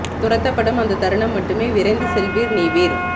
துரத்தப்படும் அந்தத் தருணம் மட்டுமே விரைந்து செல்வீர் நீவிர்